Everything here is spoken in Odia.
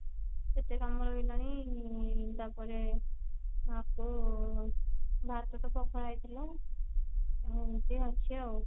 କେତେ କାମ ରହିଲାଣି ତାପରେ ଆକୁ ଭାତ ତ ପଖଳା ହେଇଥିଲା ଏମତି ଅଛି ଆଉ